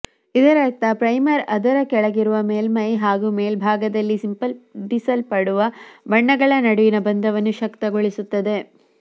ಇದರರ್ಥ ಪ್ರೈಮರ್ ಅದರ ಕೆಳಗಿರುವ ಮೇಲ್ಮೈ ಮತ್ತು ಮೇಲ್ಭಾಗದಲ್ಲಿ ಸಿಂಪಡಿಸಲ್ಪಡುವ ಬಣ್ಣಗಳ ನಡುವಿನ ಬಂಧವನ್ನು ಶಕ್ತಗೊಳಿಸುತ್ತದೆ